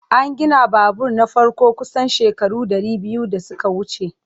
An gina babur na farko kusan shekaru dari biyu da suka wuce.